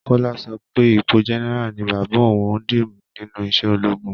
Kọ́lá sọ pé ipo general ni bàbá òun dìmú nínú iṣẹ́ ológun